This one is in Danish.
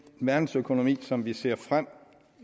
verdensøkonomi som vi ser frem